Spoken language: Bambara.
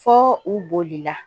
Fɔ u bolila